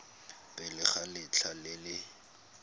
pele ga letlha le le